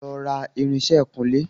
Lọ ra irinsẹ́ ìkunlé!